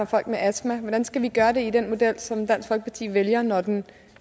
folk med astma hvordan skal vi gøre det i den model som dansk folkeparti vælger når den